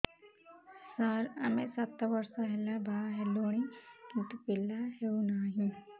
ସାର ଆମେ ସାତ ବର୍ଷ ହେଲା ବାହା ହେଲୁଣି କିନ୍ତୁ ପିଲା ହେଉନାହିଁ